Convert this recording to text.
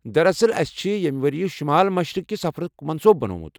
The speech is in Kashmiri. دراصل، ٲسہِ چھِ یمہِ ؤرۍ شُمال مشرِق كہِ سفرُک منصوٗبہٕ بنومُت۔